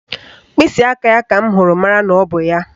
Mkpịsịaka ya ka m hụrụ mara na ọ bụ ya